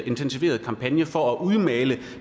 intensiveret kampagne for at udmale